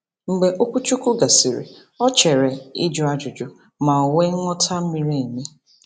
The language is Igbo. Mgbe okwuchukwu gasịrị, ọ cheere ị jụ ajụjụ ma nwe nghọta miri emi.